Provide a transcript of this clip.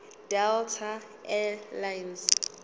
delta air lines